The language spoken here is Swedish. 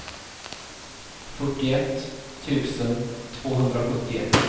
fyrtioett tusen tvåhundrasjuttioett